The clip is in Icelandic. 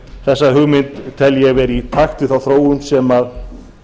þessa hugmynd tel ég vera í takt við þá þróun sem